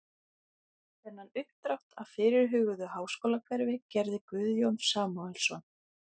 Þennan uppdrátt af fyrirhuguðu háskólahverfi gerði Guðjón Samúelsson